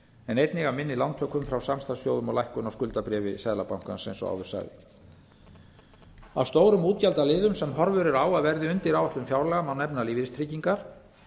en einnig af minni lántökum frá samstarfsþjóðum og lækkun á skuldabréfi seðlabankans eins og áður sagði af öðrum stórum útgjaldaliðum sem horfur eru á að verði undir áætlun fjárlaga má nefna lífeyristryggingar